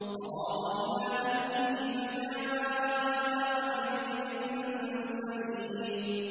فَرَاغَ إِلَىٰ أَهْلِهِ فَجَاءَ بِعِجْلٍ سَمِينٍ